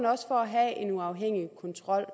også at have en uafhængig kontrol